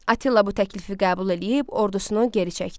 Attila bu təklifi qəbul eləyib, ordusunu geri çəkdi.